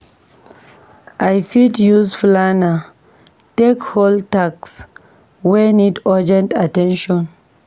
I fit use planner take hold task wey need urgent at ten tion.